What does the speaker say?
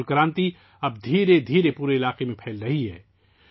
fit بال کا یہ انقلاب اب آہستہ آہستہ پورے خطے میں پھیل رہا ہے